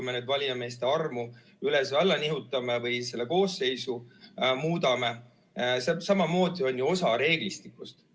See, kui me valijameeste arvu üles-alla nihutame või selle koosseisu muudame, on ju samamoodi osa reeglistikust.